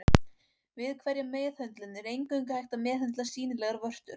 Við hverja meðhöndlun er eingöngu hægt að meðhöndla sýnilegar vörtur.